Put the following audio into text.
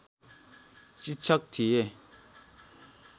शिक्षक थिए